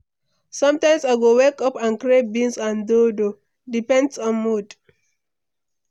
Sometimes, I go wake up and crave beans and dodo, depends on mood.